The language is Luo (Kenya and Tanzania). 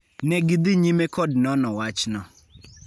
Ne gidhi nyime kod nono wachno.